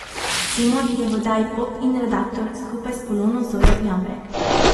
Simon je v oddaji Pop In redaktor, skupaj s Polono Zojo Jambrek.